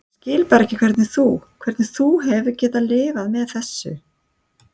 Ég skil bara ekki hvernig þú. hvernig þú hefur getað lifað með þessu.